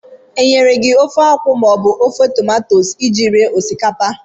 Enyere gị ofe akwụ ka ọ bụ ofe tomato iji rie osikapa?